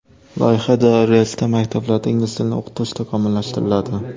Loyiha doirasida maktablarda ingliz tilini o‘qitish takomillashtiriladi.